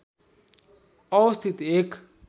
अवस्थित एक